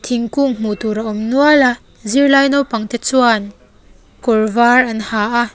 thingkung hmuh tur a awm nual a zirlai naupang te chuan kawr var an ha a.